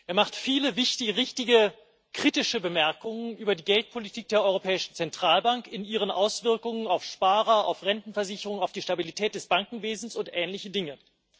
Er macht viele wichtige, richtige, kritische Bemerkungen über die Geldpolitik der Europäischen Zentralbank in ihren Auswirkungen auf Sparer, auf Rentenversicherung, auf die Stabilität des Bankenwesens und ähnliche Dinge.